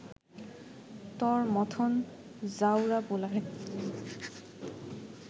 তর মথন জাউরা পোলারে